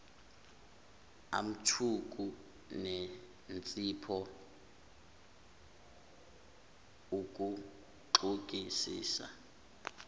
amthuku nensipho uguxungisise